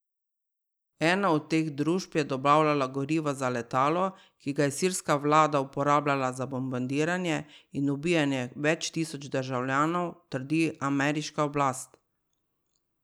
Ena od teh družb je dobavljala gorivo za letalo, ki ga je sirska vlada uporabljala za bombardiranje in ubijanje več tisoč državljanov, trdi ameriška oblast.